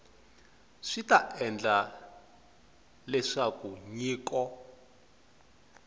swi ta endla leswaku nyiko